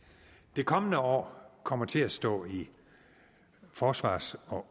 det kommende år kommer til at stå i forsvars og